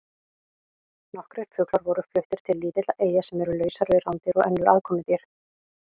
Nokkrir fuglar voru fluttir til lítilla eyja sem eru lausar við rándýr og önnur aðkomudýr.